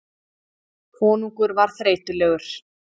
Konungur var þreytulegur.